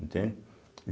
Entendem?